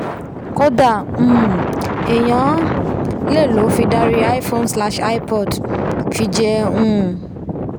kódà um èèyàn lè lòó fi darí iphone slash ipod fi jẹ́ um